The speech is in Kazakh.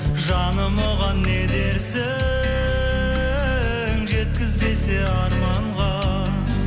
жаным оған не дерсің жеткізбесе арманға